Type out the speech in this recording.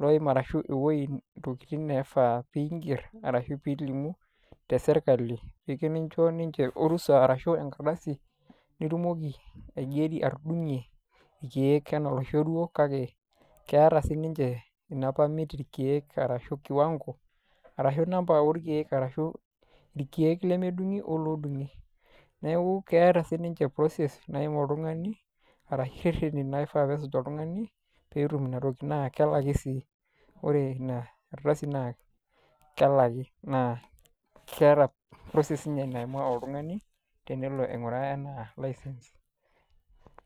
loim arashu intokitin naishaa piing'er arashu piilimu te serkali, eyou nincho ninche orusa arashu enkardasi, nitumoki atudung'ie ilkeek anaa oloishorua kake keata siininche ina permit irkeek arashu kiwang'o, arashu enamba olkeek arashu ilkeek odung'i o lemedung'i. Neaku keata sii ninche process naim oltung'ani arashu ireteni oishaa neimaa oltung'ani peetum ina toki naa kelaki sii. Ore ina ardasi naa kelaki naa keata sii ninye process naimaa oltung'ani tenelo aing'uraa ena license.